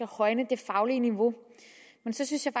højne det faglige niveau men så synes jeg